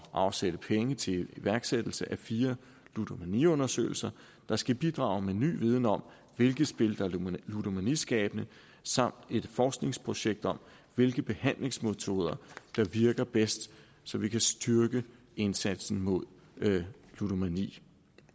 afsætte penge til iværksættelse af fire ludomaniundersøgelser der skal bidrage med ny viden om hvilke spil der er ludomaniskabende samt et forskningsprojekt om hvilke behandlingsmetoder der virker bedst så vi kan styrke indsatsen mod ludomani